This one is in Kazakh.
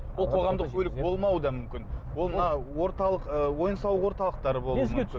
ол қоғамдық көлік болмауы да мүмкін ол мына орталық ы ойын сауық орталықтары болуы мүмкін